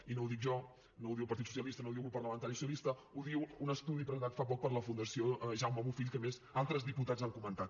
i no ho dic jo no ho diu el partit socialista no ho diu el grup parlamentari socialista ho diu un estudi presentat fa poc per la fundació jaume bofill que a més altres diputats han comentat